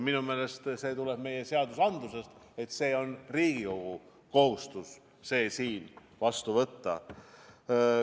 Minu meelest see tuleb meie seadustikust, et Riigikogu kohustus on see siin vastu võtta.